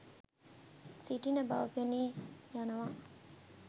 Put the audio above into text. සිටින බව පෙනී යනවා